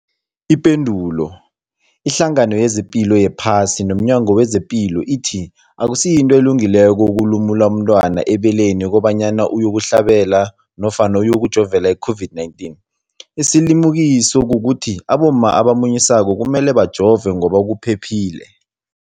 Ipendulo, iHlangano yezePilo yePhasi nomNyango wezePilo ithi akusinto elungileko ukulumula umntwana ebeleni kobanyana uyokuhlabela nofana uyokujovela i-COVID-19. Isilimukiso kukuthi abomma abamunyisako kumele bajove ngoba kuphephile.